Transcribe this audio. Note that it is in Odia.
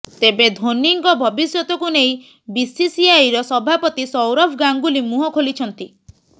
ତେବେ ଧୋନୀଙ୍କ ଭବିଷ୍ୟତକୁ ନେଇ ବିସିସିଆଇର ସଭାପତି ସୌରଭ ଗାଙ୍ଗୁଲି ମୁହଁ ଖୋଲିଛନ୍ତି